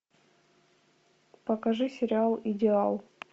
покажи сериал идеал